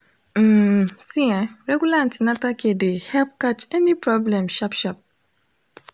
um see ehh regular an ten atal care de help catch any problem sharp sharp